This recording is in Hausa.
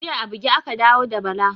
Jiya a buge aka dawo da Bala